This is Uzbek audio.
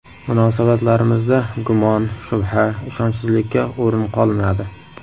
Munosabatlarimizda gumon, shubha, ishonchsizlikka o‘rin qolmadi.